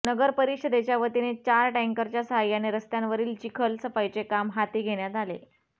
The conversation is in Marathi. नगर परिषदेच्या वतीने चार टँकरच्या सहाय्याने रस्त्यांवरील चिखल सफाईचे काम हाती घेण्यात आले